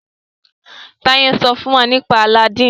Taye n sọ fún wá nípa Aladin.